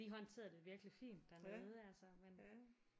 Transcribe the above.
De håndterede det virkelig fint dernede altså men